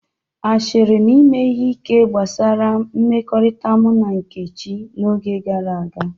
Asịrị na ime ihe ike gbasara mmekọrịta mụ na Nkechi n'oge gara aga.